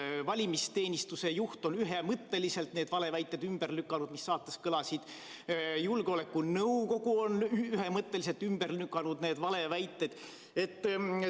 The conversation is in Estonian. Valimisteenistuse juht on ühemõtteliselt need valeväited ümber lükanud, mis saates kõlasid, julgeolekunõukogu on ühemõtteliselt need valeväited ümber lükanud.